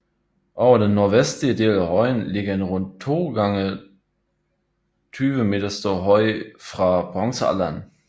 Over den nordvestlige del af højen ligger en rund 2 gange 20 m stor høj fra bronzealderen